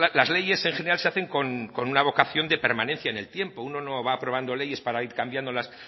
las leyes en general se hacen con una vocación de permanencia en el tiempo uno no va aprobando leyes para ir cambiándolas